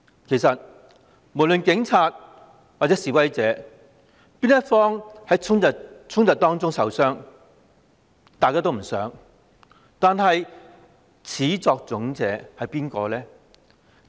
其實警察或示威者任何一方在衝突中受傷也是大家不想看到的事，但始作俑者是誰呢？